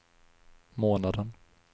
månaden